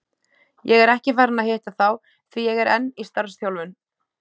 Ég er ekki farinn að hitta þá, því ég er enn í starfsþjálfun.